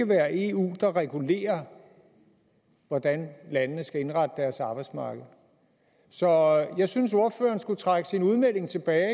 være eu der regulerer hvordan landene skal indrette deres arbejdsmarked så jeg synes at ordføreren skulle trække sin udmelding tilbage